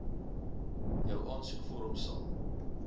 jou aansoekvorm sal